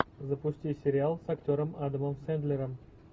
запусти сериал с актером адамом сендлером